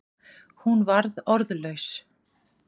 Hún varð orðlaus.